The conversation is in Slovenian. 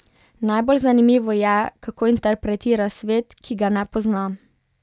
Najbolj zanimivo je, kako interpretira svet, ki ga ne pozna.